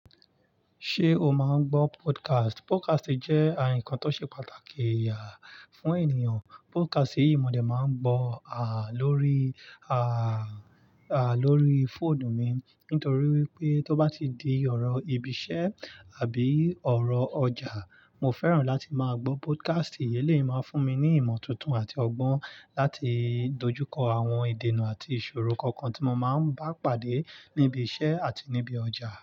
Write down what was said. Ṣé o máa ń gbọ́ podcast? Podcast jẹ́ ǹkan tó ṣe pàtàkì fún ènìyàn. Podcast yìí mo dé máa ń gbọ̀ lórí, lórí fóònù mi nítorí wípé tó bá ti di ọ̀rọ̀ ibi iṣẹ́ àbí ọ̀rọ̀ ọjà, mo fẹ́ràn láti máa gbọ́ podcast. Èleyii máa fún mi ní ìmọ̀ tuntun àti ọgbọ́n láti dojú kọ àwọn ìdènà àti ìṣòro kankan tí mo máa ń bá pàdé níbi iṣẹ́ àti níbi ọjà.